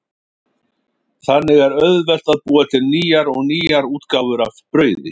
Þannig er auðvelt að búa til nýjar og nýjar útgáfur af brauði.